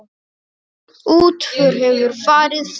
Útför hefur farið fram.